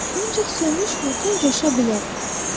Ancaq sönmüş vulkan coşa bilər.